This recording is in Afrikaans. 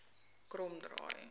kromdraai